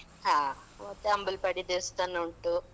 ಹಾ. ಮತ್ತೆ ಅಂಬಲ್ಪಾಡಿ ದೇವಸ್ಥಾನ ಉಂಟು.